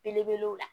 Belebelew la